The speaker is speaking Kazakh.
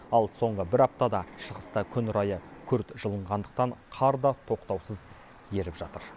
ал соңғы бір аптада шығыста күн райы күрт жылынғандықтан қар да тоқтаусыз еріп жатыр